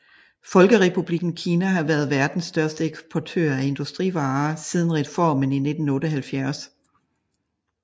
Folkerepublikken Kina har været verdens største eksportør af industrivarer siden reformen i 1978